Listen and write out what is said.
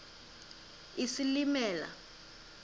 isilimela